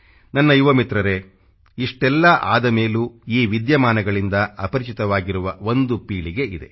ನನ್ನ ಯುವ ಮಿತ್ರರೇ ಇಷ್ಟೆಲ್ಲಾ ಆದ ಮೇಲೂ ಈ ವಿದ್ಯಮಾನಗಳಿಂದ ಅಪರಿಚಿತವಾಗಿರುವ ಒಂದು ಪೀಳಿಗೆ ಇದೆ